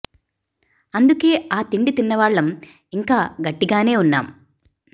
అందుకే ఆ తిండి తిన్నవాళ్ళం ఇంకా గట్టిగానే ఉన్నాం